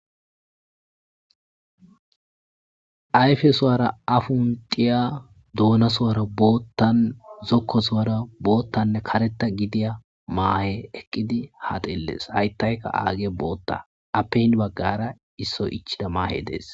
Ayfe suwara afun diya doona suwara boottan zokko suwara boottanne kareta gidiya maahe eqqidi ha delles hayttayka aage bootta appe hin baggara issoy ichida maahe dees.